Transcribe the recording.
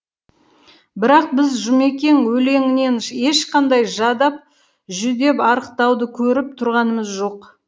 бірақ біз жұмекен өлеңінен ешқандай жадап жүдеп арықтауды көріп тұрғанымыз жоқ